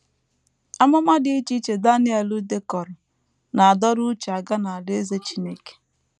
Amụma dị iche iche Daniel dekọrọ na - adọrọ uche aga n’Alaeze Chineke.